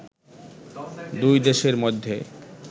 দুই দেশের মধ্যে